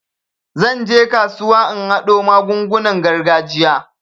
Zan je kasuwa in haɗo magungunan gargajiya.